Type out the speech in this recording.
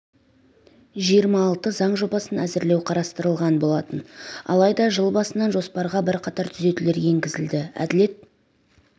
жиырма алты заң жобасын әзірлеу қарастырылған болатын алайда жыл басынан жоспарға бірқатар түзетулер енгізілді әділет